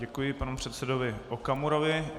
Děkuji panu předsedovi Okamurovi.